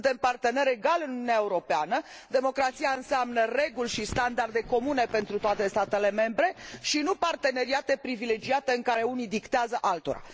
Suntem parteneri egali în Uniunea Europeană, democrația înseamnă reguli și standarde comune pentru toate statele membre, și nu parteneriate privilegiate, în care unii dictează altora.